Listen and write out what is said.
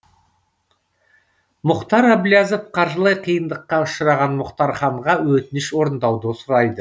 мұхтар әблязов қаржылай қиындыққа ұшыраған мұхтарханға өтініш орындауды сұрайды